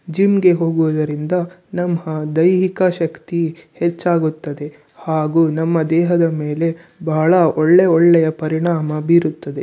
ಜಿಮ್ಗೆ ಹೋಗುವುದರಿಂದ ನಮ್ಮ ದೈಹಿಕ ಶಕ್ತಿ ಹೆಚ್ಚಾಗುತ್ತದೆ ಹಾಗು ನಮ್ಮ ದೇಹದ ಮೇಲೆ ಬಹಳ ಒಳ್ಳೆ ಒಳ್ಳೆಯ ಪರಿಣಾಮ ಬೀರುತ್ತದೆ.